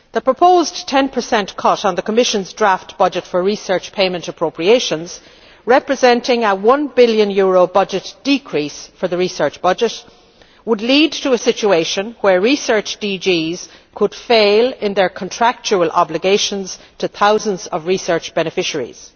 The proposed 10 cut in the Commission's draft budget for research payment appropriations representing a EUR 1 billion decrease for the research budget would lead to a situation where research DGs could fail in their contractual obligations to thousands of research beneficiaries.